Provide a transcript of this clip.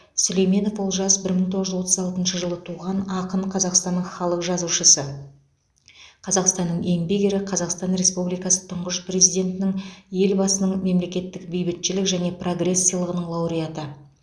сүлейменов олжас бір мың тоғыз жүз отыз алтыншы жылы туған ақын қазақстанның халық жазушысы қазақстанның еңбек ері қазақстан республикасы тұңғыш президентінің елбасының мемлекеттік бейбітшілік және прогресс сыйлығының лауреаты